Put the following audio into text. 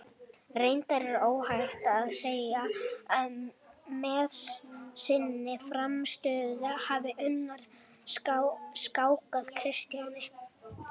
Reyndar er óhætt að segja að með sinni frammistöðu hafi Unnur skákað Kristjáni.